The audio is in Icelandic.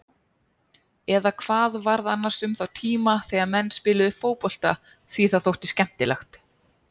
Eða hvað varð annars um þá tíma þegar menn spiluðu fótbolta því það þótti skemmtilegt?